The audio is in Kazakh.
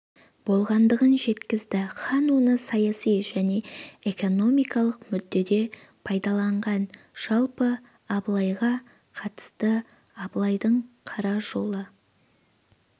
болғандығын жеткізді хан оны саяси және экономикалық мүддеде пайдаланған жалпы абылайға қатысты абылайдың қара жолы